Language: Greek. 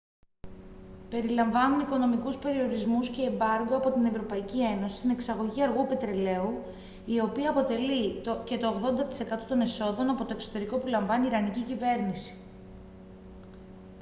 περιλαμβάνουν οικονομικούς περιορισμούς και εμπάργκο από την ευρωπαϊκή ένωση στην εξαγωγή αργού πετρελαίου η οποία αποτελεί και το 80% των εσόδων από το εξωτερικό που λαμβάνει η ιρανική κυβέρνηση